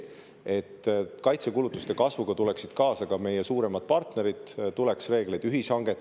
Et kaitsekulutuste kasvuga tuleksid kaasa ka meie suuremad partnerid, tuleks reegleid ühishangeteks.